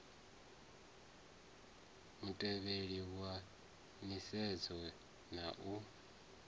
mutevhe wa nisedzo na u